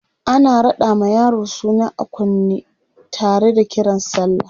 ana raɗa ma yaro suna a kunne Tara da Kiran sallah